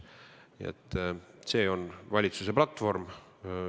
Nii et see on valitsuse platvorm.